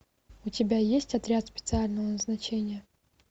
у тебя есть отряд специального назначения